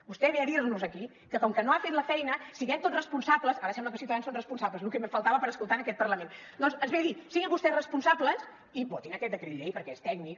vostè ve a dirnos aquí que com que no ha fet la feina siguem tots responsables ara sembla que ciutadans són responsables lo que em faltava per escoltar en aquest parlament doncs ens ve a dir siguin vostès responsables i votin aquest decret llei perquè és tècnic